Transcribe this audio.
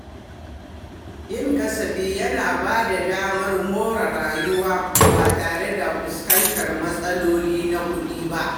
Yin kasafi yana ba da damar more rayuwa ba tare da fuskantar matsaloli na kuɗi ba.